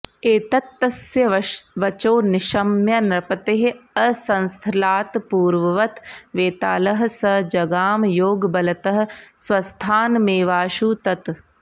एतत्तस्य वचो निशम्य नृपतेः अंसस्थलात्पूर्ववत् वेतालः सः जगाम योगबलतः स्वस्थानमेवाशु तत्